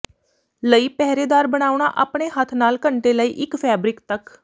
ਲਈ ਪਹਿਰੇਦਾਰ ਬਣਾਉਣਾ ਆਪਣੇ ਹੱਥ ਨਾਲ ਘੰਟੇ ਲਈ ਇੱਕ ਫੈਬਰਿਕ ਤੱਕ